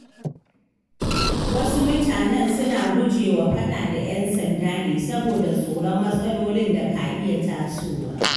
Wasu mutanen suna gujewa faɗa da ƴan sanda ne saboda tsoron matsalolin da ka iya tasowa.